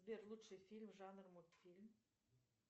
сбер лучший фильм жанр мультфильм